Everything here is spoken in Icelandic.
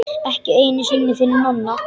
Ekki einu sinni fyrir Nonna.